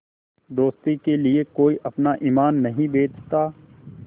दोस्ती के लिए कोई अपना ईमान नहीं बेचता